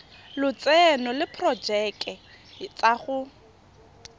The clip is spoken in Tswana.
lotseno le diporojeke tsa go